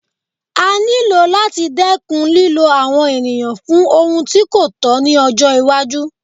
A ní lò láti dẹ́kun lílo àwọn ènìyàn fún àwọn ohun tí kò tọ̀ ní àwùjọ